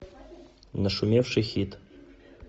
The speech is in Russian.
нашумевший хит